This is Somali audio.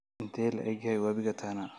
intee la egyahay wabiga Tana